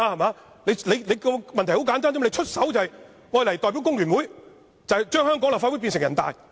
問題很簡單，他出手便是代表工聯會，將香港立法會變成人大。